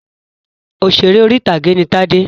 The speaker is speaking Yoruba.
Òṣèrè orí-ìtàgé ni Tádé.